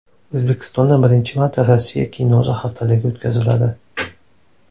O‘zbekistonda birinchi marta Rossiya kinosi haftaligi o‘tkaziladi.